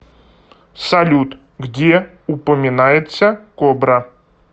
салют где упоминается кобра